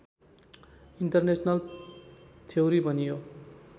international theory भनियो